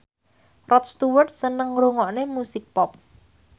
Rod Stewart seneng ngrungokne musik pop